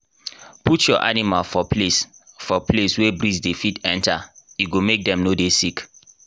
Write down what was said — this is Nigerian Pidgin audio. put your animal for place for place wey breeze dey fit enter e go make dem no dey sick